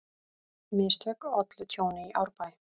Mistök ollu tjóni í Árbæ